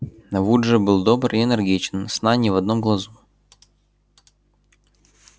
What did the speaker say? вуд же был добр и энергичен сна ни в одном глазу